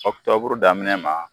Ɔkutɔburu daminɛ ma